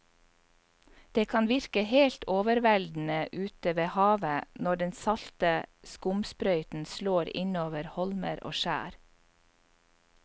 Det kan virke helt overveldende ute ved havet når den salte skumsprøyten slår innover holmer og skjær.